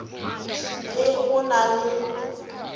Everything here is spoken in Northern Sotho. t e go na le